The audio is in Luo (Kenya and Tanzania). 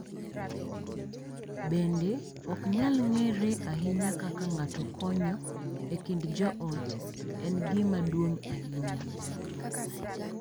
Bende, ok nyal ng’ere ahinya kaka ng’ato konyo e kind joot en gima duong’ ahinya,